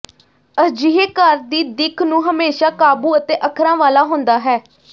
ਅਜਿਹੇ ਘਰ ਦੀ ਦਿੱਖ ਨੂੰ ਹਮੇਸ਼ਾਂ ਕਾਬੂ ਅਤੇ ਅੱਖਰਾਂ ਵਾਲਾ ਹੁੰਦਾ ਹੈ